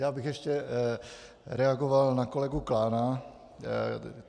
Já bych ještě reagoval na kolegu Klána.